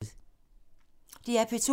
DR P2